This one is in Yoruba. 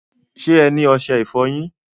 Ṣẹ́ ẹ ni oṣẹ-ìfọ̀yin?